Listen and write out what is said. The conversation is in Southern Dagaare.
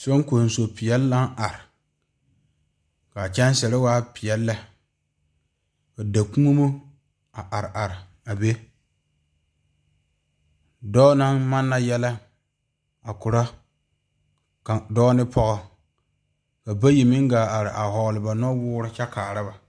Soŋkoso peɛle naŋ are kaa kyɛŋsiiri waa peɛle lɛ ka daa koɔmo a are are a be dɔɔ naŋ maana yɛllɛ a ko'o dɔɔ ne pɔge ka bayi meŋ gaa are a vɔgle ba noɔwɔɔre kyɛ kaara ba.